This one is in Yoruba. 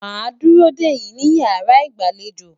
ma duro deyin ni iyara igbalejo.